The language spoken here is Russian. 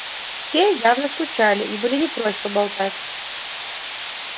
те явно скучали и были не прочь поболтать